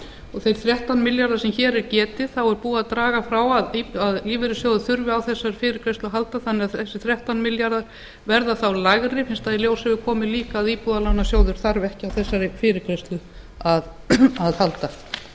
og í þeim þrettán milljörðum sem hér er getið um hefur verið dregið frá að lífeyrissjóðir þurfi á fyrirgreiðslunni að halda og talan lækkar enn fyrst í ljós hefur komið að íbúðalánasjóður þarf ekki á fyrirgreiðslunni að